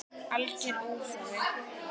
Alger óþarfi.